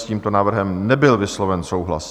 S tímto návrhem nebyl vysloven souhlas.